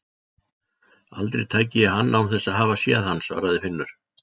Aldrei tæki ég hann án þess að hafa séð hann svaraði Finnur.